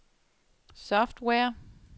software